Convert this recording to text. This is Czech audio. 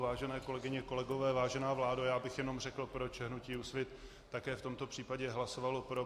Vážené kolegyně, kolegové, vážená vládo, já bych jenom řekl, proč hnutí Úsvit také v tomto případě hlasovalo pro.